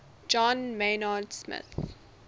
john maynard smith